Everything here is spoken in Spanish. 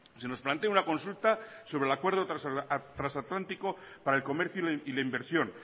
se nos plantea una consulta sobre el acuerdo trasatlántico para el comercio y la inversión